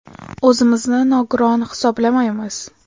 O‘zimizni nogiron hisoblamaymiz.